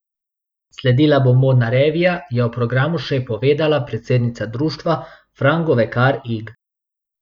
Sledila bo modna revija, je o programu še povedala predsednica društva Fran Govekar Ig.